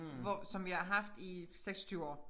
Hvor som vi har haft i 26 år